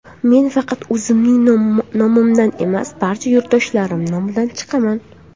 Men faqat o‘zimning nomimdan emas, barcha yurtdoshlarim nomidan chiqaman.